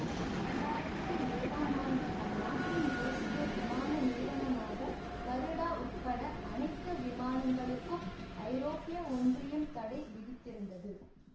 இரண்டு ஆயிரத்தி ஏழாம் ஆண்டில் அந்நாட்டின் தேசிய விமான நிறுவனமான கருடா உட்பட அனைத்து விமானங்களுக்கும் ஐரோப்பிய ஒன்றியம் தடை விதித்திருந்தது